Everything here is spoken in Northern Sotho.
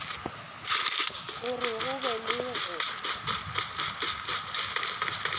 gore go be le go